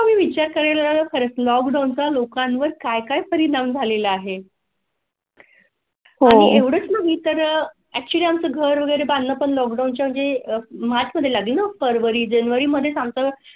मी विचार करेल खर्च लॉकडाऊन चा लोकांवर काय काय परिणाम झालेला आहे? हो घरे बांधून पण लोक म्हणजे मार्चमध्ये लागेल फरवरी जानेवारी मध्ये सांगता का?